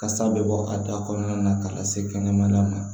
Kasa bɛ bɔ a da kɔnɔna na ka lase kɛnɛmala ma